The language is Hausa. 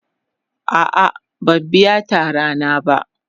A'a ban biya tara na ba.